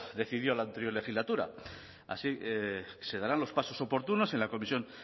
decidió en la anterior legislatura así se darán los pasos oportunos en la comisión